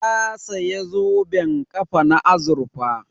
Ta saya zoben ƙafa na azurfa